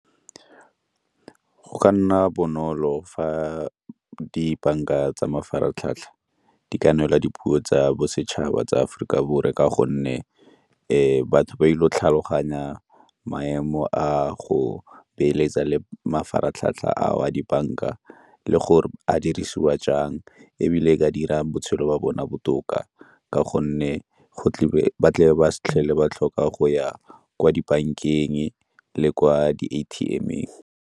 Go ka nna bonolo fa dibanka tsa mafaratlhatlha di ka neela dipuo tsa bosetšhaba tsa Aforika Borwa, ka gonne ke batho ba ile go tlhaloganya maemo a go beeletsa le mafaratlhatlha ao a dibanka le gore a dirisiwa jang ebile e ka dira botshelo ba bona botoka ka gonne ba tle ba se tlhele ba tlhoka go ya kwa dibankeng le kwa di-A_T_M-eng.